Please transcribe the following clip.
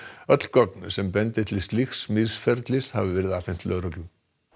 öll gögn sem bendi til slíks misferlis hafi verið afhent lögreglu